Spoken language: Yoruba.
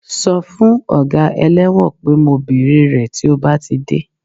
Sọ fún ọga ẹlẹ́wọ̀n pé mo bèrè rẹ̀ tí ó bá ti dé